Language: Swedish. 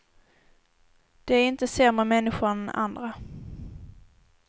De är inte sämre människor än andra.